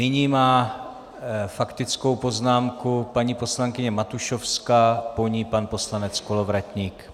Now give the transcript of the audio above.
Nyní má faktickou poznámku paní poslankyně Matušovská, po ní pan poslanec Kolovratník.